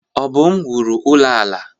Obum wuru ụlọ ala.